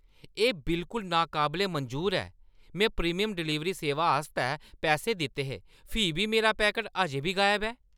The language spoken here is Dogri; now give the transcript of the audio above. एह् बिलकुल नाकाबले मंजूर ऐ! में प्रीमियम डलीवरी सेवा आस्तै पैसे दित्ते हे, फ्ही बी मेरा पैकट अजें बी गायब ऐ!